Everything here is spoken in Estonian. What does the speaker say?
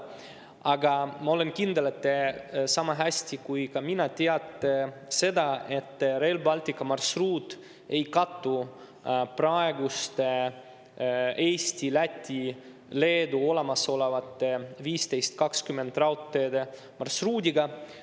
Aga ma olen kindel, et te sama hästi kui mina teate seda, et Rail Balticu marsruut ei kattu praeguste Eesti, Läti ja Leedu olemasolevate 1520 raudteede marsruudiga.